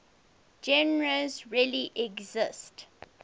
genres really exist